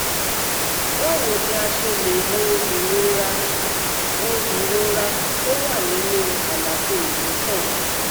Báwo ni a ṣe lè wo ìrora wo ìrora tó wà nínú àlàfo ìdí sàn?